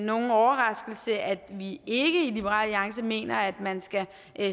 nogen overraskelse at vi ikke i liberal alliance mener at man skal